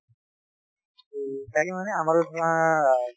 তাকে মানে আমাৰো ধৰা